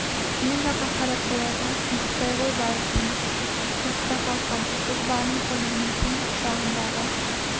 мен жаққа қарап қояды ұйықтай ғой барып тыныш ұйықта қалқам біз бармыз ғой мен түн құшағындағы